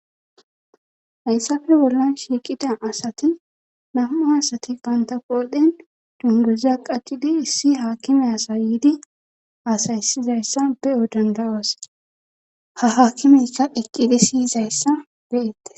hayssafe wolla shiiqida asati nam7u asati bantaqoodhen dungeza qaccidi issi haakime asayidi asaysizayssa be7o dandawas ha hakimeykka eqqidi siyizayssa be7ette